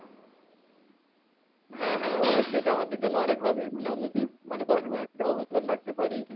হ্যাঁ হ্যাঁ অবশ্যই এটা আমাদের জন্য অনেক হবে মানে আমরা যদি মানে বাংলাদেশের কোনো একটা অবদান রাখতে পারি,